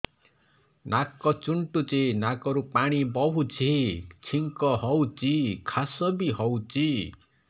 ନାକ ଚୁଣ୍ଟୁଚି ନାକରୁ ପାଣି ବହୁଛି ଛିଙ୍କ ହଉଚି ଖାସ ବି ହଉଚି